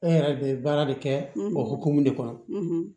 E yɛrɛ de bɛ baara de kɛ o hokumu de kɔnɔ